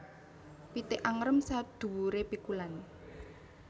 Pitik angrem saduwure pikulan